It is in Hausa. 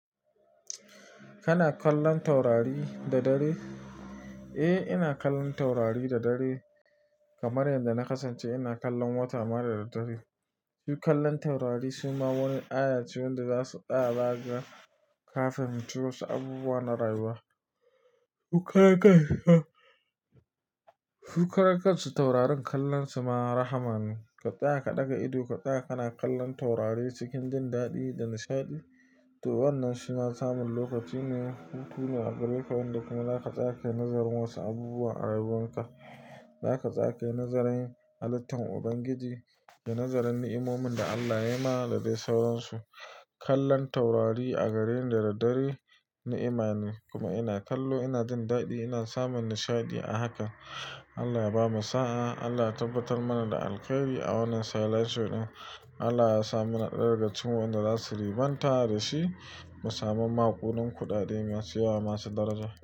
Kana kallon taurari da dare? Eh, ina kallon taurari da dare kamar yadda na kasance ina kallon wata ma da dare. Su kallon taurari su ma wani aya ce wanda zasu tsaya baya kafin mutuwa su abubuwa na rayuwa. Su karan kansu taurarin kallonsu ma rahama ne. Ka tsaya ka ɗaga ido ka tsaya kana kallon taurari cikin jin daɗi da nishaɗi to wannan shi ma samun lokaci ne hutu ne a gare ka wanda kuma zaka tsaya nazarin wasu abubuwa a rayuwanka. Zaka tsaya kayi nazarin halittun Ubangiji da nazarin ni'imomin da Allah ya yi ma da dai sauransu. Kallon taurari a gareni da daddare ni'ima ne kuma ina kallo ina jin daɗi ina samun nishaɗi a haka. Allah ya bamu sa'a, Allah ya tabbatar mana da alkhairi a wannan sa'a da ya lashe mu. Allah ya sa mu na ɗaya daga cikin wanda za su riɓanta da shi mu samu maƙudan kudade masu yawa masu daraja.